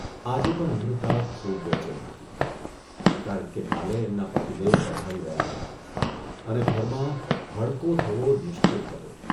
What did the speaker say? આજે પણ અમૃતા ખૂબ બેચેન હતી, કારણ કે કાલે એમના પતિદેવ પધારી રહ્યા હતા અને ઘરમાં ભડકો થવો નિશ્ચિત હતો.